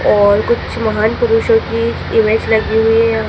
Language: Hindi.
और कुछ महान पुरुषों की इमेज लगी हुई है यहां--